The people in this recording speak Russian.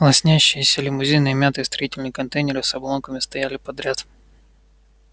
лоснящиеся лимузины и мятые строительные контейнеры с обломками стояли подряд